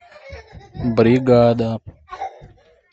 бригада